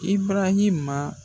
I barahima